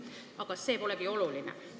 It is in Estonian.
Aga see polegi oluline.